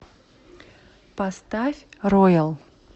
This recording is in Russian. поставь роял